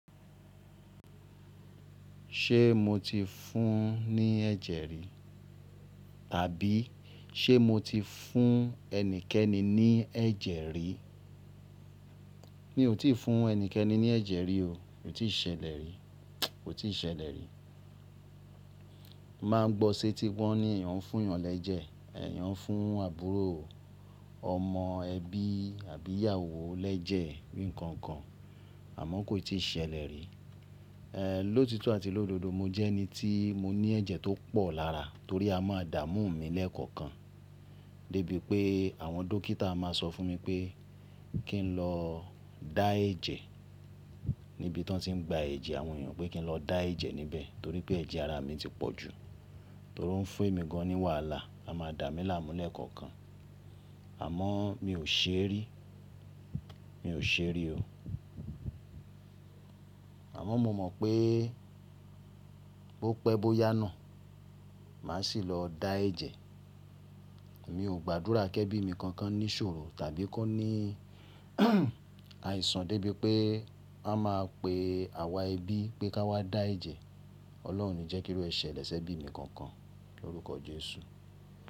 Ṣé mo ti fún ní ẹ̀jẹ̀ rí? Àbí ṣé mo ti fún ẹnikẹ́ni ní ẹ̀jẹ̀ rí? Mi ò tí ì fún ẹnikẹ́ni ní ẹ̀jẹ̀ rí o, kò tí ì ṣẹlẹ̀ rí, kò tí ì ṣẹlẹ̀ rí. Máa ngbọ́ sétí wọ́n ní ẹ̀yàn fún yàn lẹ́jẹ̀, ẹ̀yàn nfún àbúrò, ọmọ, ẹbí àbí ìyàwó lẹ́jẹ̀ bí nǹkan kan, àmọ́ kò tí ì ṣẹlẹ̀ rí. Lótito àti lódodo, mo jẹ́ ẹni tí mo ní ẹ̀jẹ̀ tó pọ̀ lára torí a máa dà mú mi lẹ́ẹ̀kọ̀kan, dé bí pé àwọn dókítà máa sọ fún mi pé kí n lọ dá ẹ́jẹ níbi tí wọ́n ti ń gba ẹ̀jẹ̀ àwọn ènìyàn pé kí n lọ dá ẹ́jẹ níbẹ̀ torí pé ẹ̀jẹ̀ ara mi ti pọ̀ ju, torí ó ń fún emi gan ní wàhálà, a máa dà mí láàmú lẹ́ẹ̀kọ̀kan. Àmọ́ mi ò ṣe rí, mi ò ṣe rí o. Àmọ́ mo mọ̀ pé bó pẹ́ bó yá na, màá sì lọ dá ẹ́jẹ. Mi ò gbàdúrà kí ẹbí mi kankan ní ṣòro tàbí kó ní àìsàn dé bí pé a máa pe àwa ẹbí pé ká wá dá ẹ́jẹ. Ọlọ́run oní jẹ́ kí ó rẹ̀ ṣẹlẹ̀ ṣẹ́bí mi kankan lórúkọ Jésù.